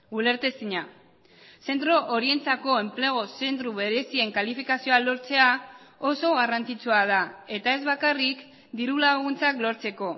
ulertezina zentro horientzako enplegu zentro berezien kalifikazioa lortzea oso garrantzitsua da eta ez bakarrik diru laguntzak lortzeko